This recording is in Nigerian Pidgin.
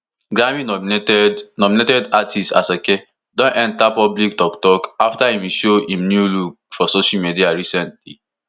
grammy nominated nominated artiste asake don enta public toktok afta im show im new look for social media recently